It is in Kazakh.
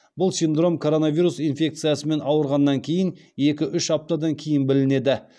бұл синдром коронавирус инфекциясымен ауырғаннан кейін екі үш аптадан кейін білінеді